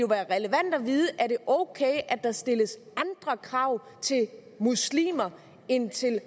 relevant at vide om er ok at der stilles andre krav til muslimer end til